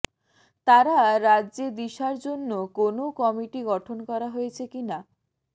তারা রাজ্যে দিশার জন্য কোনও কমিটি গঠন করা হয়েছে কিনা